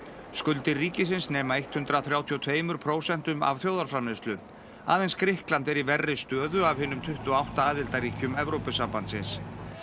skuldir ríkisins nema hundrað þrjátíu og tveimur prósentum af þjóðarframleiðslu aðeins Grikkland er í verri stöðu af hinum tuttugu og átta aðildarríkjum Evrópusambandsins